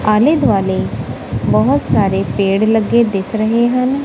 ਆਲ਼ੇ ਦੁਆਲੇ ਬਹੁਤ ਸਾਰੇ ਪੇੜ ਲੱਗੇ ਦਿਸ ਰਹੇ ਹਨ।